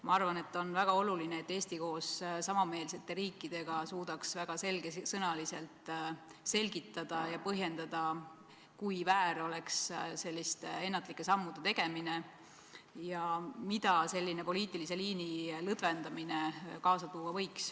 Ma arvan, et on väga oluline, et Eesti koos samameelsete riikidega suudaks väga selgesõnaliselt selgitada ja põhjendada, kui väär oleks selliste ennatlike sammude tegemine ja mida selline poliitilise liini lõdvendamine võiks kaasa tuua.